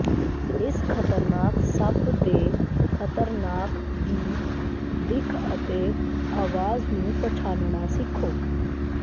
ਇਸ ਖਤਰਨਾਕ ਸੱਪ ਦੇ ਖਤਰਨਾਕ ਦੀ ਦਿੱਖ ਅਤੇ ਆਵਾਜ਼ ਨੂੰ ਪਛਾਣਨਾ ਸਿੱਖੋ